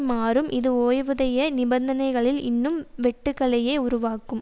மாறும் இது ஓய்வூதிய நிபந்தனைகளில் இன்னும் வெட்டுகளயே உருவாக்கும்